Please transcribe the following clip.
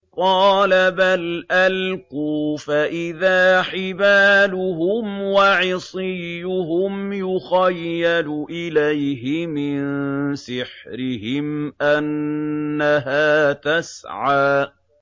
قَالَ بَلْ أَلْقُوا ۖ فَإِذَا حِبَالُهُمْ وَعِصِيُّهُمْ يُخَيَّلُ إِلَيْهِ مِن سِحْرِهِمْ أَنَّهَا تَسْعَىٰ